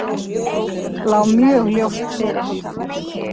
Lá mjög ljóst fyrir.